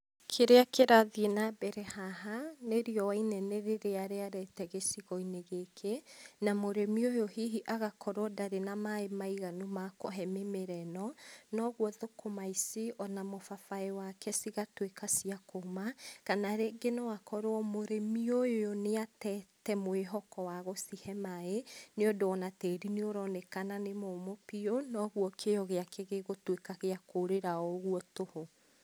Kĩrĩa kĩrathiĩ na mbere haha nĩ riũa inene rĩrĩa rĩarĩte gĩcigo-inĩ gĩkĩ, na mũrĩmi ũyũ hihi agakorwo ndarĩ na maaĩ maiganu ma kũhe mĩmera ĩno. Na ũguo thũkũma ici ona mũbabaĩ wake cigatuĩka ciakuma, kana rĩngĩ no akorwo mũrĩmi ũyũ nĩ atete mwĩhoko wa gũcihe maaĩ nĩ ũndũ ona tĩri nĩ ũronekana nĩ mũmũ piũ noguo kĩo gĩake gĩgũtuĩka gĩa kũũrĩra o ũguo tũhũ.